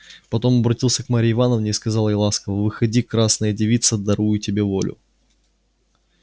потом обратился к марье ивановне и сказал ей ласково выходи красная девица дарую тебе волю